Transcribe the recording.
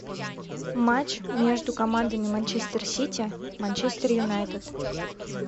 матч между командами манчестер сити манчестер юнайтед